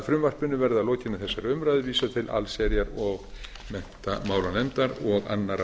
frumvarpinu verði að lokinni þessari umræðu vísað til allsherjar og menntamálanefndar og annarrar